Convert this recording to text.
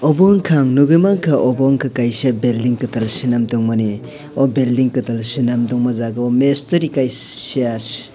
obo wngka ang nogoi mangka obo wngka kaisa belding ketal selamtongmani o belding ketal selamtongma jaga o meshtori kaisssa.